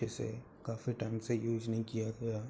जिसे काफी टाइम से यूज नहीं किया गया --